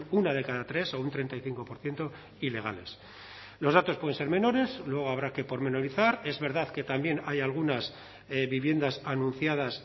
una de cada tres o un treinta y cinco por ciento ilegales los datos pueden ser menores luego habrá que pormenorizar es verdad que también hay algunas viviendas anunciadas